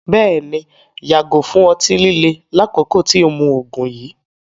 Bẹ́ẹ̀ni, yàgò fún ọ̀tí-lílè lákòkó tì o mú oogun yìí